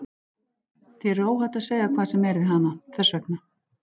Þér er óhætt að segja hvað sem er við hana, þess vegna.